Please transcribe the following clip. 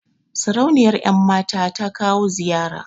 Sarauniyar ƴan mata ta kawo ziyara